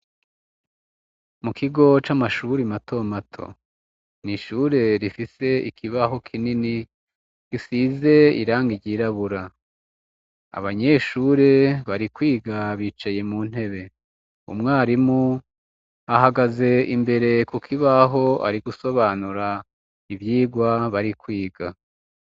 Mu kigo c' amashure matomato, nishure rifis' ikibaho kinini gisize irangi ryirabura, abanyeshure bari kwiga bicaye mu ntebe mwarimu. ahagaze imbere kukibah' arigusobanura ivyo bari kwiga